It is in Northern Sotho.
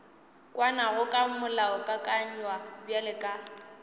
kwanago ka molaokakanywa bjalo ka